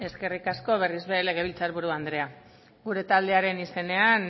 eskerrik asko berriz ere legebiltzar buru andrea gure taldearen izenean